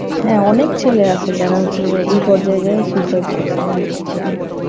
হ্যাঁ অনেক ছেলে আছে যারা হচ্ছে যে এই পর্যায় যায় suicide করছে অনেক ছেলে.